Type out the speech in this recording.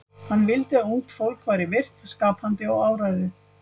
Hann vildi að ungt fólk væri virkt, skapandi og áræðið.